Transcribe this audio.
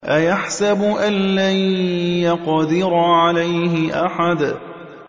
أَيَحْسَبُ أَن لَّن يَقْدِرَ عَلَيْهِ أَحَدٌ